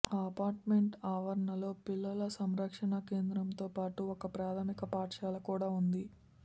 ఆ అపార్ట్మెంట్ ఆవరణలో పిల్లల సంరక్షణ కేంద్రంతోపాటు ఓ ప్రాథమిక పాఠశాల కూడా ఉంది